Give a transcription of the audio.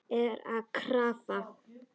Er að krafla.